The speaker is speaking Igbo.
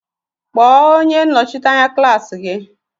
Kpọọ onye Nnọchite anya klaasi gị!